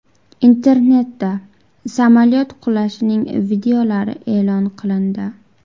Internetda samolyot qulashining videolari e’lon qilindi.